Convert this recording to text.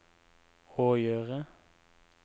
å gjøre